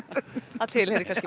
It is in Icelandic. það tilheyrir kannski